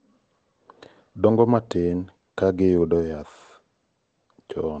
dongo matin ka giyudo yath chon